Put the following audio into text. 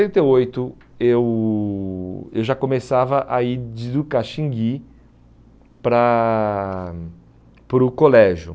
sessenta e oito, eu eu já começava a ir de Ducaxinguí para para o colégio.